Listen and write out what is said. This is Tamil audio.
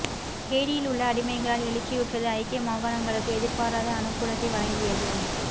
ஹெய்டியில் உள்ள அடிமைகளால் எழுச்சியுற்றது ஐக்கிய மாகாணங்களுக்கு எதிர்பாராத அனுகூலத்தை வழங்கியது